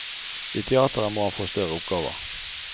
I teatret må han få større oppgaver.